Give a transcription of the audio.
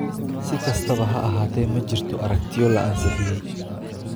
Si kastaba ha ahaatee, ma jirto aragtiyo la ansixiyay.